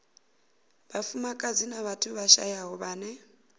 vhafumakadzi na vhathu vhashayaho vhane